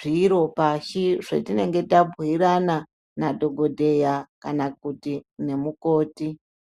zviro pashi zvetinenge tabhuirana nadhokodheya kana kuti nemukoti.